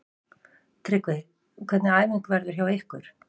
Tryggvi, hvernig æfing verður hjá ykkur?